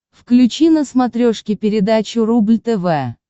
включи на смотрешке передачу рубль тв